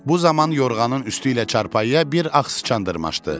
Bu zaman yorğanın üstü ilə çarpayıya bir ağ sıçan dırmaşdı.